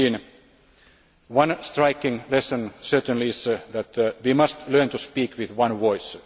COP 15. One striking lesson certainly is that we must learn to speak with one voice.